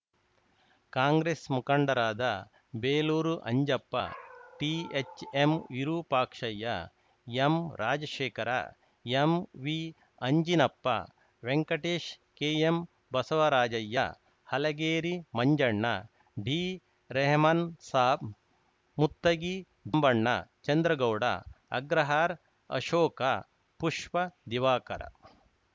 ಕಾಂಗ್ರೆಸ್‌ ಮುಖಂಡರಾದ ಬೇಲೂರು ಅಂಜಪ್ಪ ಟಿಎಚ್‌ಎಂವಿರೂಪಾಕ್ಷಯ್ಯ ಎಂರಾಜಶೇಖರ ಎಂವಿಅಂಜಿನಪ್ಪ ವೆಂಕಟೇಶ್ ಕೆಎಂಬಸವರಾಜಯ್ಯ ಹಲಗೇರಿ ಮಂಜಣ್ಣ ಡಿರೆಹಮಾನಸಾಬ್‌ ಮುತ್ತಗಿ ಬಣ್ಣ ಚಂದ್ರಗೌಡ ಅಗ್ರಹಾರ್ ಆಶೋಕ ಪುಷ್ಪ ದಿವಾಕರ